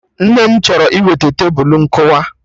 Nne m chọrọ iweta Tebulu nkụwa